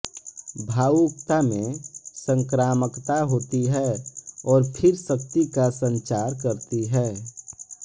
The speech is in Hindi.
भावुकता में संक्रामकता होती है और फिर शक्ति का संचार करती है